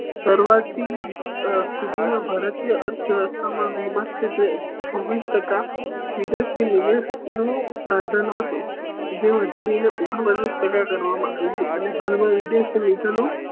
કરવા થી આ સ્થિતિ નો ભારતીય અર્થવ્યસ્થા મા મસ્ત છે છવી ટકા વિદેશ થી નિવેશ નું સ્પર્ધાન હતું જે વધારી ને ઓઘન પચાસ ટકા કરવા મા આવ્યું અને હાલ મા વિદેશ